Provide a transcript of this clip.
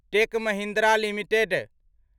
tech Mahindra limited